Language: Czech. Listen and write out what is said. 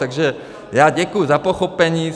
Takže já děkuji za pochopení.